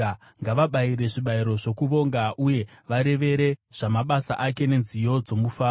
Ngavabayire zvibayiro zvokuvonga, uye vareve zvamabasa ake nenziyo dzomufaro.